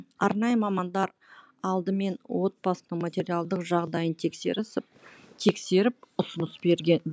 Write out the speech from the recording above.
арнайы мамандар алдымен отбасының материалдық жағдайын тексерісіп ұсыныс берген